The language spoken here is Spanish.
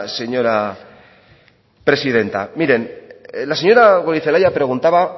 señora presidenta miren la señora goirizelaia preguntaba